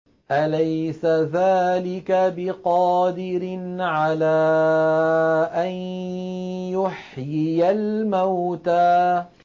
أَلَيْسَ ذَٰلِكَ بِقَادِرٍ عَلَىٰ أَن يُحْيِيَ الْمَوْتَىٰ